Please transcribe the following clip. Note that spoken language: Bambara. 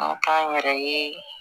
An k'an yɛrɛ ye